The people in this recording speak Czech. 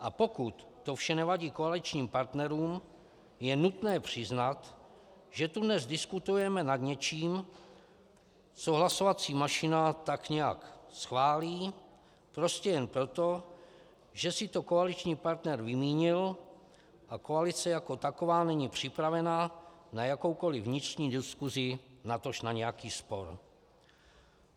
A pokud to vše nevadí koaličním partnerům, je nutné přiznat, že tu dnes diskutujeme nad něčím, co hlasovací mašina tak nějak schválí prostě jen proto, že si to koaliční partner vymínil a koalice jako taková není připravena na jakoukoliv vnitřní diskusi, natož na nějaký spor.